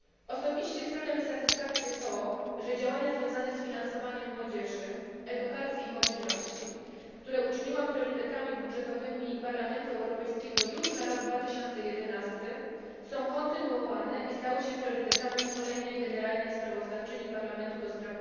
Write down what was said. Osobiście sprawia mi satysfakcję, że działania związane z finansowaniem młodzieży, edukacji i mobilności, które uczyniłam priorytetami budżetowymi Parlamentu Europejskiego już na rok 2011, są kontynuowane i stały się priorytetami kolejnej generalnej sprawozdawczyni Parlamentu ds.